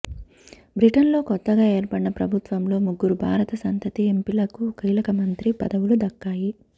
బ్రిటన్లో కొత్తగా ఏర్పడిన ప్రభుత్వంలో ముగ్గురు భారత సంతతి ఎంపీలకు కీలక మంత్రి పదవులు దక్కాయి